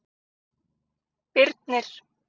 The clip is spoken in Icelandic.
Birnir